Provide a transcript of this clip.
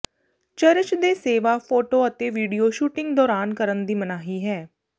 church ਦੇ ਸੇਵਾ photo ਅਤੇ ਵੀਡੀਓ ਸ਼ੂਟਿੰਗ ਦੌਰਾਨ ਕਰਨ ਦੀ ਮਨਾਹੀ ਹੈ